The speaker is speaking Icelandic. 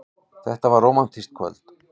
Þetta er rómantískt kvöld.